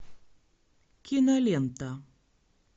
кинолента